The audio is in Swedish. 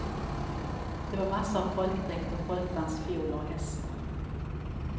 Det var massor av folkdräkter, folkdans, fioler och hästar.